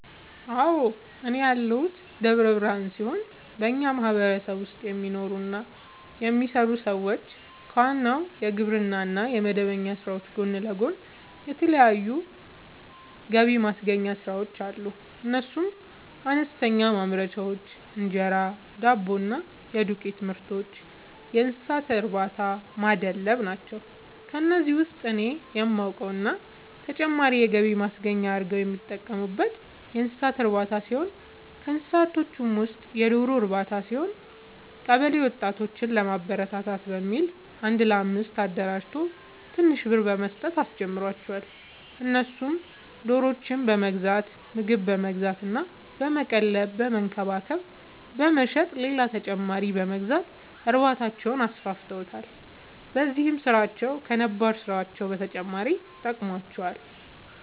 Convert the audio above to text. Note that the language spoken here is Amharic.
አዎ፤ እኔ ያለሁት ደብረ ብርሃን ሲሆን በኛ ማህበረሰብ ውስጥ የሚኖሩ እና የሚሰሩ ሰዎች ከዋናው የግብርና እና የመደበኛ ስራዎች ጎን ለጎን የተለያዩ ገብማስገኛ ስራዎች አሉ፤ እነሱም፦ አነስተኛ ማምረቻዎች(እንጀራ፣ ዳቦ እና የዱቄትምርቶች)፣የእንሰሳትእርባታናማድለብ ናቸው። ከነዚህ ውስጥ እኔ የማውቀው እና ተጨማሪ የገቢ ማስገኛ አርገው የሚጠቀሙበት የእንሰሳት እርባታ ሲሆን ከእንስሳዎቹ ውስጥም የዶሮ ርባታ ሲሆን፤ ቀበለ ወጣቶችን ለማበረታታት በሚል አንድ ለአምስት አደራጅቶ ትንሽ ብር በመስጠት አስጀመራቸው እነሱም ዶሮዎችን በመግዛት ምግብ በመግዛት እና በመቀለብ በመንከባከብ በመሸጥ ሌላ ተጨማሪ በመግዛት እርባታቸውን አስፋፍተዋል። በዚህም ስራቸው ከነባር ስራቸው በተጨማሪ ጠቅሞዋቸዋል።